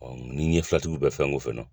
ni n ye fiyɛtiw bɛɛ fɛn ko fɛnɛ